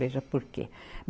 Seja por quê.